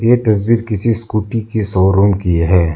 ये तस्वीर किसी स्कूटी के शोरूम की है।